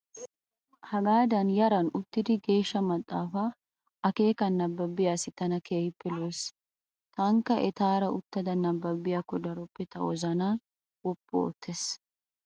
hagaadan yaran uttidi geeshsha maaxaafa akeekan nababiya asayi tana keehippe lo''es. tankka etaara uttada nababiyaakko daroppe ta wozanaa wooppu oottes.